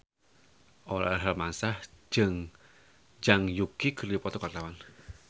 Aurel Hermansyah jeung Zhang Yuqi keur dipoto ku wartawan